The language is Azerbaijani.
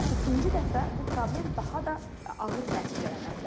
Amma ikinci dəfə bu problem daha da ağır nəticələnə bilər.